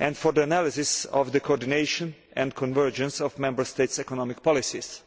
and for the analysis of the coordination and convergence of Member States' economic policies.